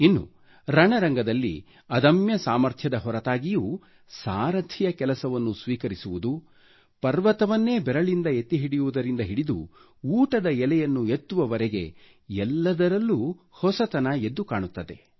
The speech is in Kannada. ಇನ್ನು ರಣರಂಗದಲ್ಲಿ ಅದಮ್ಯ ಸಾಮರ್ಥ್ಯದ ಹೊರತಾಗಿಯೂ ಸಾರಥಿಯ ಕೆಲಸವನ್ನು ಸ್ವೀಕರಿಸುವುದು ಪರ್ವತವನ್ನೇ ಬೆರಳಿಂದ ಎತ್ತಿಹಿಡಿಯುವುದರಿಂದ ಹಿಡಿದು ಊಟದ ಎಲೆಯನ್ನು ಎತ್ತುವವರೆಗೆ ಎಲ್ಲದರಲ್ಲೂ ಹೊಸತನ ಎದ್ದು ಕಾಣುತ್ತದೆ